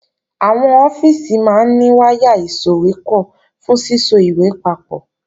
Àwọn ọ́fíìsì máa ní wáyà ìsòwépọ̀ fún síso ìwé papọ̀